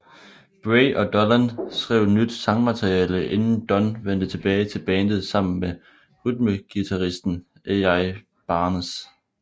Bray og Dolan skrev nyt sangmateriale inden Dunn vendte tilbage til bandet sammen med rytmeguitaristen Al Barnes